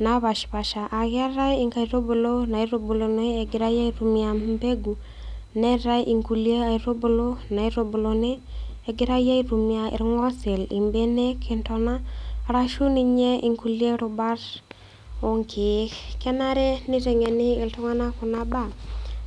napashpaasha aaketai inkaitubulu naitubuluni egirai aitumia mbegu neetai inkulie aitubulu naitubuluni egirai aitumia ilng'osil, imbenek, intona arashu ninye inkulie rubat oonkeek. Kenare neiteng'eni iltung'anak kuna baa